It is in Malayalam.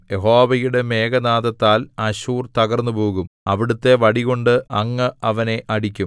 യഹോവയുടെ മേഘനാദത്താൽ അശ്ശൂർ തകർന്നുപോകും അവിടുത്തെ വടികൊണ്ട് അങ്ങ് അവനെ അടിക്കും